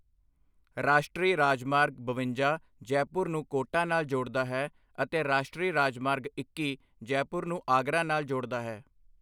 ਰਾਸ਼ਟਰੀ ਰਾਜਮਾਰਗ ਬਵੰਜਾ ਜੈਪੁਰ ਨੂੰ ਕੋਟਾ ਨਾਲ ਜੋੜਦਾ ਹੈ ਅਤੇ ਰਾਸ਼ਟਰੀ ਰਾਜਮਾਰਗ ਇੱਕੀ ਜੈਪੁਰ ਨੂੰ ਆਗਰਾ ਨਾਲ ਜੋੜਦਾ ਹੈ।